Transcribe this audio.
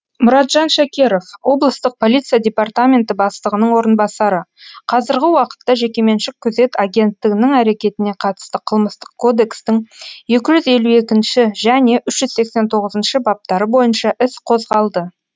мұратжан шакеров облыстық полиция департаменті бастығының орынбасары қазіргі уақытта жекеменшік күзет агенттігінің әрекетіне қатысты қылмыстық кодекстің екі жүз елу екінші және үш жүз сексен тоғызыншы баптары бойынша іс қозғалды